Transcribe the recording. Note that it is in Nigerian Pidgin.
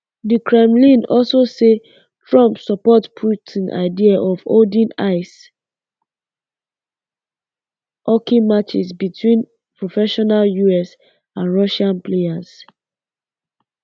di kremlin also say trump support putin idea of holding ice um hockey matches between professional us and um russian players